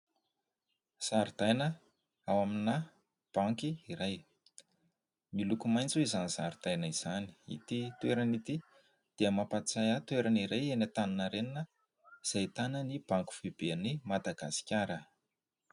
Zaridaina ao amina banky iray ; miloko maitso izany zaridaina izany ; ity toerana ity dia mampatsiahy ahy toerana iray eny Antaninarenina ; izay ahitana ny banky foibe an'i Madagasikara.